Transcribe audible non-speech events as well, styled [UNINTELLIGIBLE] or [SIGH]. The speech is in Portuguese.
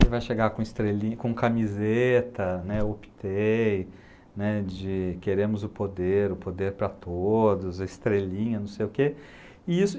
Ele vai chegar com estrelinha, camiseta né, [UNINTELLIGIBLE] né, de queremos o poder, o poder para todos, a estrelinha, não sei o quê. E isso